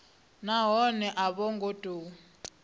nahone a vho ngo tou